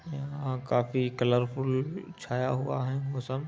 यहाँ काफी कलरफुल छाया हुआ है मौसम।